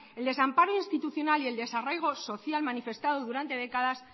el desamparo institucional y el desarraigo social manifestado durante décadas